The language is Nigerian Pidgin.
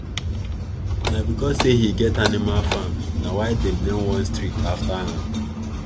na because say he get animal farm na why them name one street after am